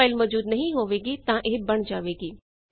ਜੇ ਫਾਈਲ ਮੌਜੂਦ ਨਹੀਂ ਹੋਵੇਗੀ ਤਾਂ ਇਹ ਬਣ ਜਾਵੇਗੀ